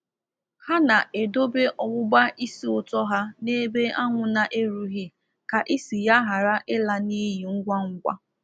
Ha na-edobe ọgbụbá ísì ūtọ ha n'ebe anwụ na-erughị ka isi ya ghara ịla n’iyi ngwa ngwa.